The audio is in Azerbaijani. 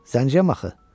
Zəngiyəm axı.